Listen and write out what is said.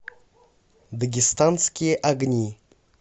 дагестанские огни